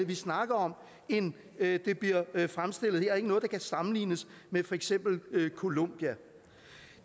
vi snakker om end det bliver fremstillet her og ikke noget der kan sammenlignes med for eksempel columbia